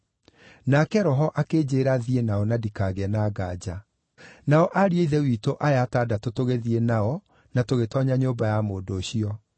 Nake Roho akĩnjĩĩra thiĩ nao na ndikagĩe na ngaanja. Nao ariũ a Ithe witũ aya atandatũ tũgĩthiĩ nao na tũgĩtoonya nyũmba ya mũndũ ũcio.